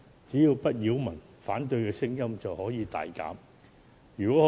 只要不擾民，反對的聲音便會大減。